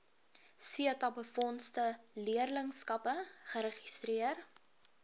setabefondse leerlingskappe geregistreer